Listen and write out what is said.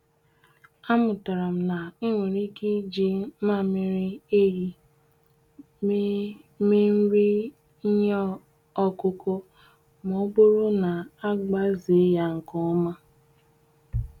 Amụtara m na enwere ike iji mmamịrị ehi mee mee nri ihe ọkụkụ ma ọ bụrụ na agbazee ya nke ọma.